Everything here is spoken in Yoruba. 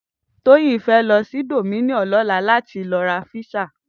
Toyin fè lò si Domino lòlá lòlá làtí lò rá pizza